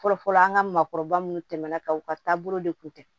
Fɔlɔfɔlɔ an ŋa maakɔrɔba munnu tɛmɛna ka u ka taabolo de kun tɛ